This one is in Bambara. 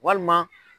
Walima